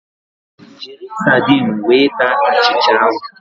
Jiri sardinu wee taa achịcha ahụ